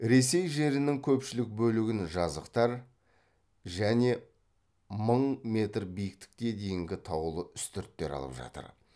ресей жерінің көпшілік бөлігін жазықтар және мың метр биіктікке дейінгі таулы үстірттер алып жатыр